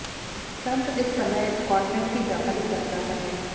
Trump इस समय Scotland की व्यापारिक यात्रा पर हैं